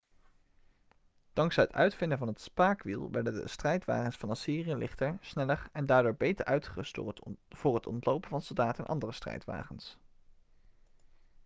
dankzij het uitvinden van het spaakwiel werden de strijdwagens van assyrië lichter sneller en daardoor beter uitgerust voor het ontlopen van soldaten en andere strijdwagens